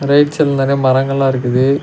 Right சைடுல நெறைய மரங்கள்லா இருக்குது.